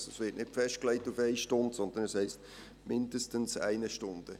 Es wird also nicht auf eine Stunde festgelegt, sondern es heisst «mindestens eine Stunde».